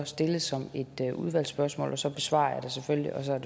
stilles som et udvalgsspørgsmål og så besvarer jeg det selvfølgelig og så er